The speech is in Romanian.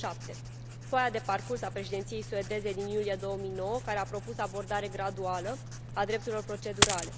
2007 foaia de parcurs a Președinției suedeze din iulie 2009, care a propus o abordare graduală a drepturilor procedurale